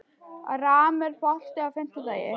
Ram, er bolti á fimmtudaginn?